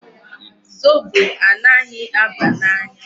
Zobo anaghị aba n'anya.